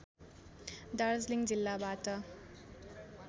दार्जिलिङ जिल्लाबाट